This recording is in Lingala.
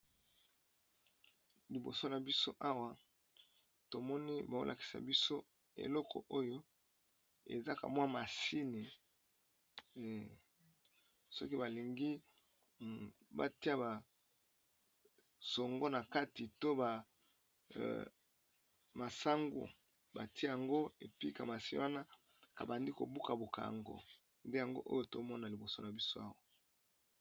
Liboso na biso awa tomoni baolakisa biso eloko oyo ezaka mwa masine soki balingi batia basongo na kati to bamasango batia yango epika masini wana abandi kobuka bokango nde yango oyo tomona liboso na biso awa.